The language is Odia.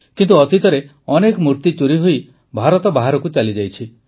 କିନ୍ତୁ ଅତୀତରେ ଅନେକ ମୂର୍ତ୍ତି ଚୋରିହୋଇ ଭାରତ ବାହାରକୁ ଚାଲିଯାଇଛି